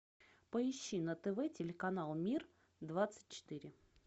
поищи на тв телеканал мир двадцать четыре